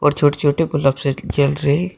छोटे छोटे बल्ब से जल रहे--